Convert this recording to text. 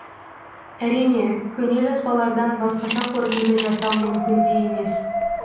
әрине көне жазбалардан басқаша қорытынды жасау мүмкін де емес